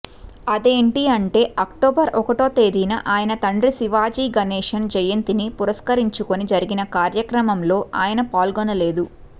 అదేంటి అంటే అక్టోబర్ ఒకటో తేదీన ఆయన తండ్రి శివాజీ గణేషన్ జయంతిని పురస్కరించుకుని జరిగిన కార్యక్రమంలో ఆయన పాల్గొనలేదు